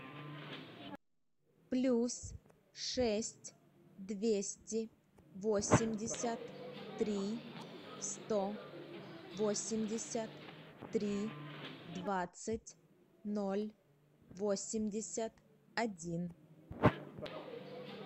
плюс шесть двести восемьдесят три сто восемьдесят три двадцать ноль восемьдесят один